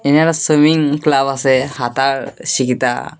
একটা swimming club আসে হাতার শিখিতা।